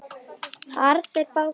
Harðri baráttu er nú lokið.